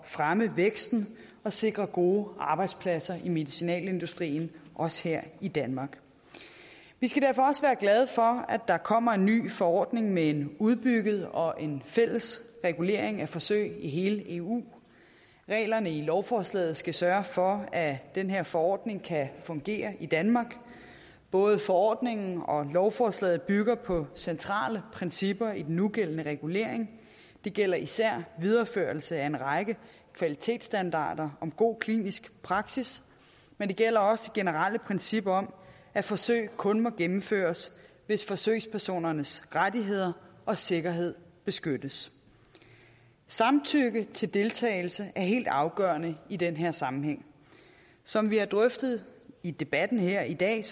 fremme væksten og sikre gode arbejdspladser i medicinalindustrien også her i danmark vi skal derfor også være glade for at der kommer en ny forordning med en udbygget og en fælles regulering af forsøg i hele eu reglerne i lovforslaget skal sørge for at den her forordning kan fungere i danmark både forordningen og lovforslaget bygger på centrale principper i den nugældende regulering det gælder især videreførelse af en række kvalitetsstandarder om god klinisk praksis men det gælder også det generelle princip om at forsøg kun må gennemføres hvis forsøgspersonernes rettigheder og sikkerhed beskyttes samtykke til deltagelse er helt afgørende i den her sammenhæng som vi har drøftet i debatten her i dag